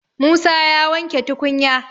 Musa ya wanke tukunya